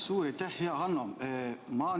Suur aitäh, hea Hanno!